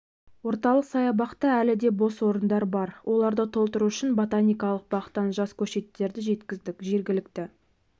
орталық саябақта әлі де бос орындар бар оларды толтыру үшін ботаникалық бақтан жас көшеттерді жеткіздік жергілікті